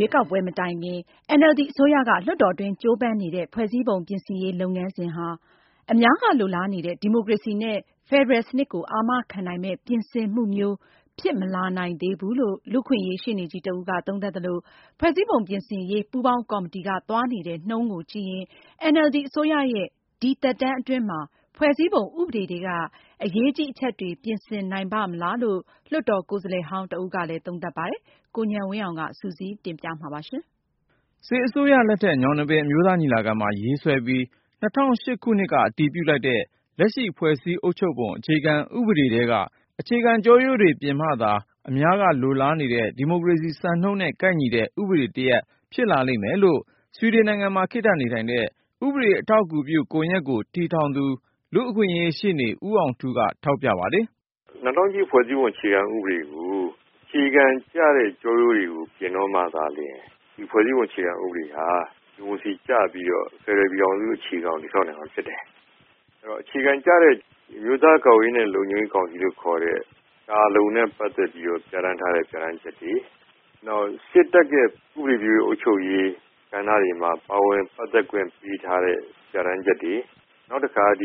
ရွေးကောက်ပွဲမတိုင်ခင် NLD အစိုးရက လွှတ်တော်တွင်း ကြိုးပမ်းနေတဲ့ ဖွဲ့စည်းပုံပြင်ဆင်ရေး လုပ်ငန်းစဉ်ဟာ အများက လိုလားနေတဲ့ ဒီမိုကရေစီနဲ့ ဖက်ဒရယ်စနစ်ကို အာမခံနိုင်မယ့် ပြင်ဆင်မှုမျိုး ဖြစ်မလာနိုင်သေးဘူးလို့ လူ့အခွင့်အရေး ရှေ့နေကြီးတဦးက သုံးသပ်သလို၊ ဖွဲ့စည်းပုံပြင်ဆင်ရေး ပူးပေါင်းကော်မတီက သွားနေတဲ့ နှုန်းကိုကြည့်ရင် NLD အစိုးရရဲ့ ဒီသက်တမ်းအတွင်း ဖွဲ့စည်းပုံဥပဒေထဲက အရေးကြီး အချက်တွေ ပြင်ဆင်နိုင်ပါ့မလားလို့ လွှတ်တော်ကိုယ်စားလှယ်ဟောင်းတဦးကလည်း သုံးသပ်ပါတယ်။ ကိုဉာဏ်ဝင်းအောင်က စုစည်းတင်ပြ ထားပါတယ်။ စစ်အစိုးရလက်ထက် ညောင်နှစ်ပင်အမျိုးသားညီလာခံမှာ ရေးဆွဲပြီး ၂၀၀၈ ခုနှစ်က အတည်ပြုလိုက်တဲ့ လက်ရှိ ဖွဲ့စည်းအုပ်ချုပ်ပုံ အခြေခံ ဥပဒေထဲက အခြေခံကျောရိုးတွေ ပြင်မှသာ အများကလိုလားနေတဲ့ ဒီမိုကရေစီ စံနှုန်းတွေနဲ့ကိုက်ညီတဲ့ ဥပဒေတရပ် ဖြစ်လာလိမ့်မယ်လို့ ဆွီဒင်နိုင်ငံမှာ ခေတ္တနေထိုင်တဲ့ ဥပဒေအထောက်အကူပြုကွန်ရက်ကို တည်ထောင်သူ လူ့အခွင့်အရေး ရှေ့နေ ဦးအောင်ထူးက ထောက်ပြ ပါတယ်။ " ၂၀၀၈ ဖွဲ့စည်းပုံ အခြေခံ ဥပဒေကို အခြေခံကျတဲ့ ကျောရိုးတွေကို ပြင်တော့မှသာလျင် ဒီဖွဲ့စည်းပုံ အခြေခံ ဥပဒေဟာ ဒီမိုကရေစီ ကျပြီးတော့ ဖယ်ဒရယ် ပြည်ထောင်စု အခြေခံကို တည်ဆောက်နိုင်မှာ ဖြစ်တယ်။ အဲဒီတော့ အခြေခံ ကျတဲ့ အမျိုးသား ကာကွယ်ရေးနဲ့ လုံခြုံရေး ကောင်စီလို့ ခေါ်တဲ့ ကာလုံနဲ့ ပတ်သက်ပြီးတော့ ပြဌာန်းထားတဲ့ ပြဌာန်းချက်တွေ၊ နောက် စစ်တပ်ရဲ့ ဥပဒေပြုရေး အုပ်ချုပ်ရေး ကဏ္ဍတွေမှာ ပါဝင်ပတ်သက်ခွင့် ပေးထားတဲ့ ပြဌာန်းချက်တွေ၊ နောက်တခါ သ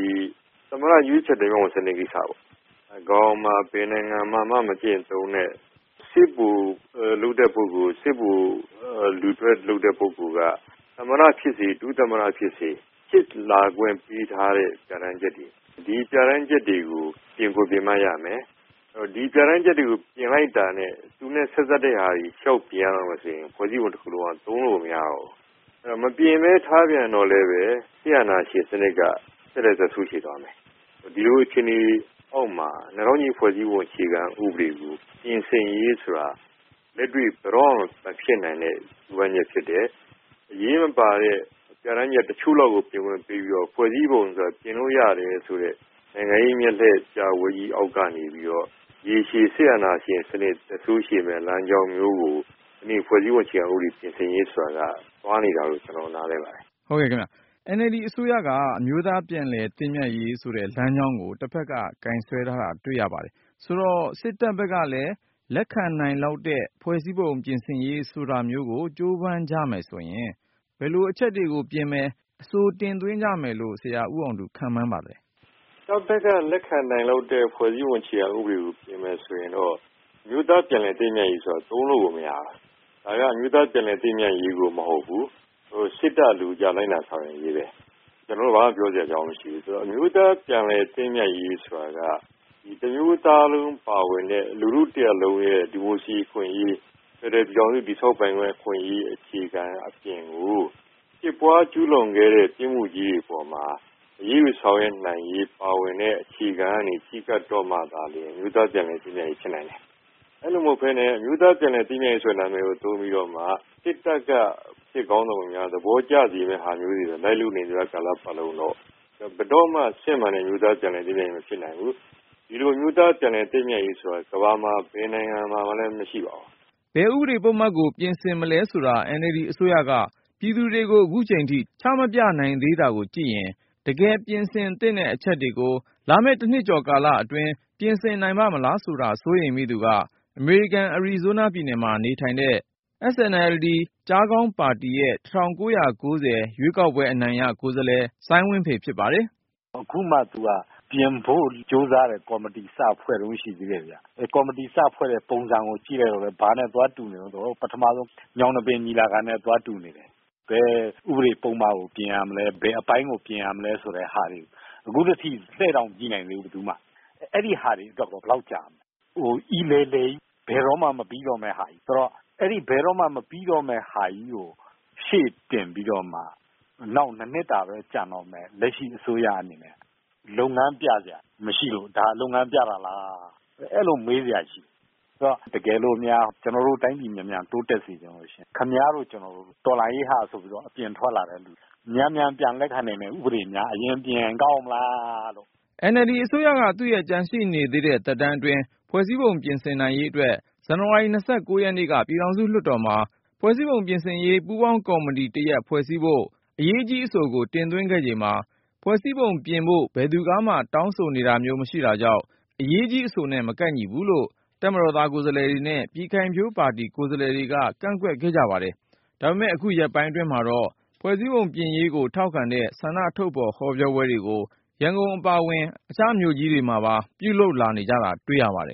မ္မတ ရွေးချယ်တင်မြှောက်ခွင့် စနစ် ကိစ္စပေါ့ ကမ္ဘာပေါ်မှာ ဘယ်နိုင်ငံမှာမှ မကျင့်သုံးတဲ့ စစ်ဗိုလ်လုပ်တဲ့ ပုဂ္ဂိုလ်၊ စစ်ဗိုလ် လူထွက်လုပ်တဲ့ ပုဂ္ဂိုလ်က သမ္မတ ဖြစ်စေ ဒုသမ္မတ ဖြစ်စေ ဖြစ်လာခွင့် ပေးထားတဲ့ ပြဌာန်းချက်တွေ၊ ဒီပြဌာန်းချက်တွေကို ပြင်ကို ပြင်မှ ရမယ်။ ဒီပြဌာန်းချက်တွေကို ပြင်လိုက်တာနဲ့ သူနဲ့ ဆက်စပ်တဲ့ဟာတွေ လျှောက်ပြင်ရတော့မယ်ဆိုရင် ဖွဲ့စည်းပုံ တခုလုံးက သုံးလို့ကို မရတော့ဘူး။ မပြင်ဘဲ ထားပြန်တော့လည်းဘဲ စစ်အာဏာရှင် စနစ်က ဆက်လက် သက်ဆိုးရှည်သွားမယ်။ ဒီလို အခြေအနေ အောက်မှာ ၂၀၀၈ ဖွဲ့စည်းပုံ အခြေခံ ဥပဒေကို ပြင်ဆင်ရေးဆိုတာ လက်တွေ့ ဘယ်တော့မှ မဖြစ်နိုင်တဲ့ ကြိုးပမ်းချက် ဖြစ်တယ်။ အရေးမပါတဲ့ ပြဌာန်းချက် တချို့လောက်ကို ပြင်ခွင့်ပေးပြီးတော့ ဖွဲ့စည်းပုံဆိုတာ ပြင်လို့ ရတယ်ဆိုတဲ့ နိုင်ငံရေး မျက်လှည့် ပြပွဲကြီး အောက်ကနေပြီးတော့ ရေရှည် စစ်အာဏာရှင် စနစ် သက်ဆိုးရှည်မယ့် လမ်းကြောင်း မျိုးကို ဒီကနေ့ ဖွဲ့စည်းပုံ ပြင်ဆင်ရေး ဆိုတာက သွားနေတာလို့ ကျနော် နားလည်ပါတယ်။ " ကိုညဏ်ဝင်းအောင်။ ။ ဟုတ်ကဲ့ခင်ဗျ။ NLD အစိုးရက အမျိုးသား ပြန်လည်သင့်မြတ်ရေး ဆိုတဲ့ လမ်းကြောင်းကို တဖက်က ကိုင်စွဲထားတာ တွေ့ရပါတယ်။ ဆိုတော့ စစ်တပ်ဘက်ကလည်း လက်ခံနိုင်လောက်တဲ့ ဖွဲ့စည်းပုံ ပြင်ဆင်ရေး ဆိုတာမျိုးကို ကြိုးပမ်းကြမယ်ဆိုရင် ဘယ်လို အချက်တွေကို ပြင်မယ်၊ အဆိုတင်သွင်းကြမယ်လို့ ဆရာ ဦးအောင်ထူး ခန့်မှန်းပါလဲ။ ဦးအောင်ထူး။ ။ တပ်ဘက်က လက်ခံနိုင်တဲ့ ဖွဲ့စည်းပုံ အခြေခံ ဥပဒေကို ပြင်မယ်ဆိုရင်ကတော့ အမျိုးသား ပြန်လည်သင့်မြတ်ရေးဆိုတာကို တိုးလို့ကို မရဘူး။ ဒါက အမျိုးသားပြန်လည်သင့်မြတ်ရေးကို မဟုတ်ဘူး။ စစ်တပ် အလိုကျ လိုက်နာဆောင်ရွက်ရေးဘဲ။ ကျနော် ဘာမှ ပြောစရာ အကြောင်းမရှိဘူး။ အမျိုးသား ပြန်လည်သင့်မြတ်ရေး ဆိုတာက တမျိုးသားလုံးပါဝင်တဲ့ လူထု တရပ်လုံးရဲ့ ဒီမိုကရေစီ အခွင့်အရေး ဖယ်ဒရယ် ပြည်ထောင်စု တည်ဆောက်ပိုင်ခွင့် အခွင့်အရေး အခြေခံ အပြင်ကို ဖြစ်ပွားကျူးလွန်ခဲ့တဲ့ ပြစ်မှုကြီးတွေ အပေါ်မှာ အရေးယူ ဆောင်ရွက်နိုင်ရေး ပါဝင်တဲ့ အခြေခံနဲ့ ချဉ်းကပ်တော့မှသာလျင် အမျိုးသားပြန်လည်သင့်မြတ်ရေး ဖြစ်နိုင်တယ်။ အဲလို မဟုတ်ဘဲနဲ့ အမျိုးသား ပြန်လည်သင့်မြတ်ရေး နာမည်ကို သုံးပြီးတော့မှ စစ်တပ်က စစ်ခေါင်းဆောင်တွေ သဘောကျစေမယ့် ဟာမျိုးတွေကို လိုက်လုပ်နေသမျှ ကာလပတ်လုံးတော့ ဘယ်တော့မှ စစ်မှန်တဲ့ အမျိုးသား ပြန်လည်သင့်မြတ်ရေး မဖြစ်နိုင်ဘူး။ ဒီလို အမျိုးသား ပြန်လည်သင့်မြတ်ရေး ဆိုတာက ကမ္ဘာမှာ ဘယ်နိုင်ငံမှာမှ မရှိပါဘူး။ ဘယ်ဥပဒေ ပုဒ်မတွေကို ပြင်ဆင်မလဲဆိုတာ NLD အစိုးရက ပြည်သူတွေကို အခုထိ ချမပြနိုင်သေးတာကိုကြည့်ရင် တကယ်ပြင်ဆင်သင့်တဲ့ အချက်တွေကို လာမယ့် ၁ နှစ်ကျော်ကာလအတွင်း ပြင်ဆင်နိုင်ပါ့မလားဆိုတာ စိုးရိမ်မိသူက အမေရိကန် အရီဇိုးနားပြည်နယ်မှာနေတဲ့ SNLD ကျားခေါင်းပါတီရဲ့ ၁၉၉၀ ရွေးကောက်ပွဲအနိုင်ရ ကိုယ်စားလှယ် စိုင်းဝင်းဖေ ဖြစ်ပါတယ်။ " အခုမှ သူက ပြင်ဖို့ကြိုးစားတဲ့ ကော်မတီ စဖွဲ့တုန်း ရှိသေးတယ်ဗျ။ ကော်မတီစဖွဲ့တဲ့ ပုံစံကို ကြည့်လိုက်တော့လည်း ဘာနဲ့သွားတူနေလဲ ဆိုတော့ ပထမဆုံး ညောင်နှစ်ပင် ညီလာခံနဲ့ သွားတူနေတယ်။ ဘယ်ဥပဒေ ပုဒ်မကို ပြင်ရမလဲ၊ ဘယ်အပိုင်းကို ပြင်ရမလဲ ဆိုတဲ့ဟာတွေ အခုထက်ထိ လှည့်တောင် မကြည့်နိုင်သေးဘူး ဘယ်သူမှ။ အဲဒီဟာတွေ အတွက်ရော ဘယ်လောက် ကြာမလဲ။ ဟို အီလည်လည်ကြီး ဘယ်တော့မှ မပြီးတော့မယ့် ဟာကြီး။ အဲဒီ ဘယ်တော့မှ မပြီးတော့မယ့် ဟာကြီးကို ရှေ့တင်ပြီးတော့မှ နောက် ၂ နှစ်တာဘဲ ကျန်တော့မယ် လက်ရှိ အစိုးရ အနေနဲ့ လုပ်ငန်းပြစရာ မရှိဘူး။ ဒါ လုပ်ငန်းပြတာလား အဲသလို မေးစရာ ရှိတယ်။ တကယ်လို့များ ကျနော်တို့ တိုင်းပြည် အမြန်တိုးတက်စေချင်လို့ ရှိရင် ခင်ဗျားတို့ ကျနော်တို့ တော်လှန်ရေးဆိုပြီး အပြင်ထွက်လာသူတွေ မြန်မြန် ပြန်လက်ခံနိုင်တဲ့ ဥပဒေများ အရင် ပြင်ရင် ကောင်းမလားလို့ ။ " NLD အစိုးရက သူ့ရဲ့ကျန်ရှိနေသေးတဲ့ သက်တမ်းအတွင်း ဖွဲ့စည်းပုံပြင်နိုင်ရေးအတွက် ဇန်နဝါရီ ၂၉ ရက်နေ့က ပြည်ထောင်စုလွှတ်တော်မှာ ဖွဲ့စည်းပုံပြင်ဆင်ရေး ပူးပေါင်းကော်မတီတရပ် ဖွဲ့စည်းဖို့ အရေးကြီးအဆိုတရပ် တင်သွင်းခဲ့ချိန်မှာ ဖွဲ့စည်းပုံပြင်ဖို့ ဘယ်သူကမှ တောင်းဆို နေတာမျိုးမရှိတာကြောင့် အရေးကြီးအဆိုနဲ့ မကိုက်ညီဘူးလို့ တပ်မတော်သားကိုယ်စားလှယ်တွေနဲ့ ပြည်ခိုင်ဖြိုးပါတီ ကိုယ်စားလှယ်တွေက ကန့်ကွက်ခဲ့ကြပါတယ်။ ဒါပေမဲ့လည်း အခုရက်ပိုင်းတွေအတွင်းမှာတော့ ဖွဲ့စည်းပုံပြင်ရေးကို ထောက်ခံတဲ့ ဆန္ဒထုတ်ဖေါ်ဟောပြောပွဲတွေကို ရန်ကုန်အပါအဝင် အခြားမြို့တွေမှာပါ တောက်လျှောက်ဆိုသလို ပြုလုပ်လာကြတာ တွေ့ရပါတယ်။